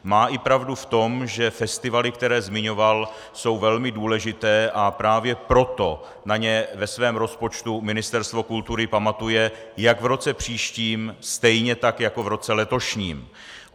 Má i pravdu v tom, že festivaly, které zmiňoval, jsou velmi důležité, a právě proto na ně ve svém rozpočtu Ministerstvo kultury pamatuje jak v roce příštím, stejně tak jako v roce letošním.